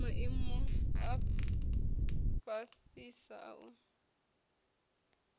maimo a fhasisa a u